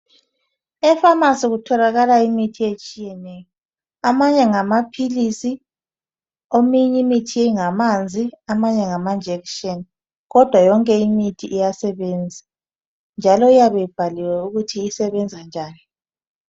Ephamacy kutholakala imithi etshiyeneyo amanye ngamapills eminye imithi ngamanzi amanye ngamanjection kodwa yonke imithi iyasebenza njalo iyabe ibhaliwe ukuthi isebenza njani